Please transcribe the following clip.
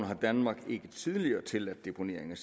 har danmark ikke tidligere tilladt deponering